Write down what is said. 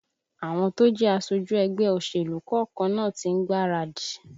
Àwọn tó jẹ́ aṣojú ẹgbẹ́ òṣèlú kọ̀ọ̀kan náà tí ń gbáradì